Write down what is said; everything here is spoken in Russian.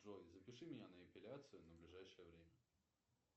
джой запиши меня на эпиляцию на ближайшее время